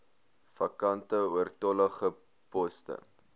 vakante oortollige poste